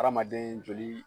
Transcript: Hadamaden joli